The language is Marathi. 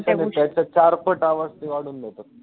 ते मग त्याच्या चार पट आवाज ते वाढवून देतात.